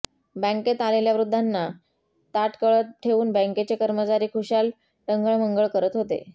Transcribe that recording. बँकेत आलेल्या वृद्धांना ताटकळत ठेवून बँकेचे कर्मचारी खुशाल टंगळमंगळ करत होते